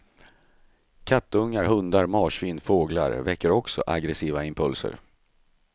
Kattungar, hundar, marsvin, fåglar väcker också aggressiva impulser.